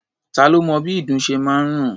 Ta lo mọ bí ìdun ṣe máa ń rùn?